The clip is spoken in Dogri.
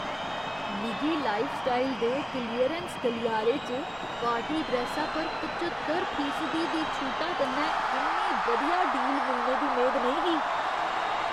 मिगी लाइफस्टाइल दे क्लीयरैंस गलियारे च पार्टी ड्रैस्सा पर पच्चतर फीसदी दी छूटा कन्नै इन्नी बधिया डील मिलने दी मेद नेईं ही।